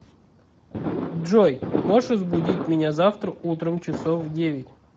джой можешь разбудить меня завтра утром часов в девять